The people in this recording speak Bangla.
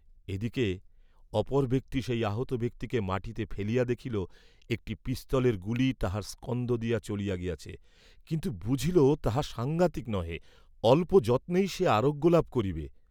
এদিকে অপর ব্যক্তি সেই আহত ব্যক্তিকে মাটীতে ফেলিয়া দেখিল, একটি পিস্তলের গুলি তাহার স্কন্ধ দিয়া চলিয়া গিয়াছে, কিন্তু বুঝিল তাহা সাংঘাতিক নহে অল্প যত্নেই সে আরোগ্যলাভ করিবে।